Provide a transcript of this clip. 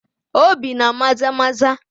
Obii na Maza maza